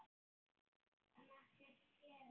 En ekkert gerist.